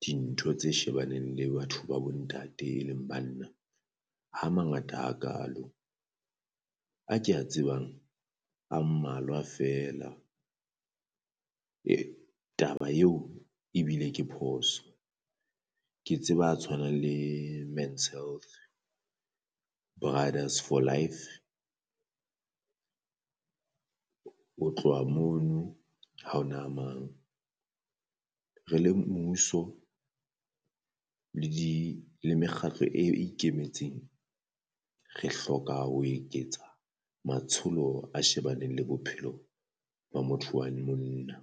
dintho tse shebaneng le batho ba bo ntate e leng banna, ha mangata hakalo a ke a tsebang a mmalwa feela taba eo ebile ke phoso. Ke tseba a tshwanang le Men's Health, Brothers For Life Ho tloha mono haona a mang. Re le mmuso le di le mekgatlo e ikemetseng re hloka ho eketsa matsholo a shebaneng le bophelo ba motho wa monna.